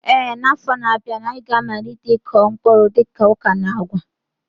Ee, n'afọ na-abịa, anyị ga-amalite ịkụ mkpụrụ dịka ọka na agwa.